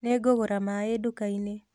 Nĩngũgũra maĩ nduka-inĩ